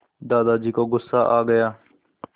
दादाजी को गुस्सा आ गया